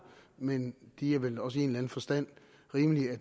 men det er vel også i en eller anden forstand rimeligt at